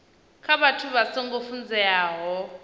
kha vhathu vha songo funzeaho